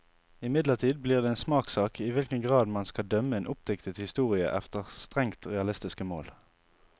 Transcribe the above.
Imidlertid blir det en smakssak i hvilken grad man skal dømme en oppdiktet historie efter strengt realistiske mål.